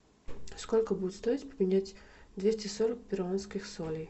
сколько будет стоить поменять двести сорок перуанских солей